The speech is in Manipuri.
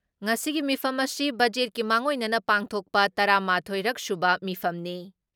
ꯉꯁꯤꯒꯤ ꯃꯤꯐꯝ ꯑꯁꯤ ꯕꯖꯦꯠꯀꯤ ꯃꯥꯡꯑꯣꯏꯅꯅ ꯄꯥꯡꯊꯣꯛꯄ ꯇꯔꯥ ꯃꯥꯊꯣꯏ ꯔꯛ ꯁꯨꯕ ꯃꯤꯐꯝꯅꯤ ꯫